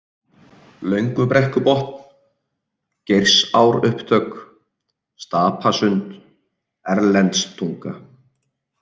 Löngubrekkubotn, Geirsárupptök, Stapasund, Erlendstunga